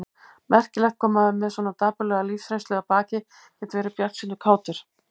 Merkilegt hvað maður með svona dapurlega lífsreynslu að baki getur verið bjartsýnn og kátur.